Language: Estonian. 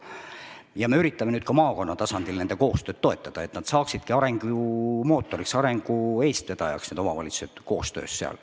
Ja me üritame nüüd ka maakonna tasandil omavalitsuste koostööd toetada, et nad saaksidki seal arengumootoriks, arengu eestvedajaks.